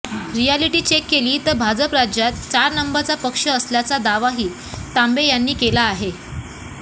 reality check केली तर भाजप राज्यात चार नंबरचा पक्ष असल्याचा दावाही तांबे यांनी केला आहे